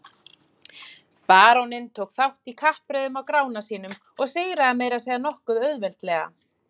Baróninn tók þátt í kappreiðunum á Grána sínum og sigraði meira að segja nokkuð auðveldlega.